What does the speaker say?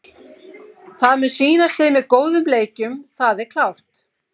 Það mun sýna sig með góðum leikjum, það er klárt.